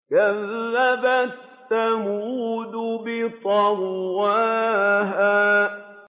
كَذَّبَتْ ثَمُودُ بِطَغْوَاهَا